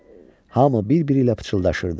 Hamı bir-biri ilə pıçıldaşırdı.